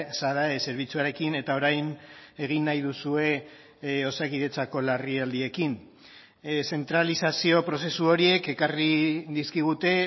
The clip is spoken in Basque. sadae zerbitzuarekin eta orain egin nahi duzue osakidetzako larrialdiekin zentralizazio prozesu horiek ekarri dizkigute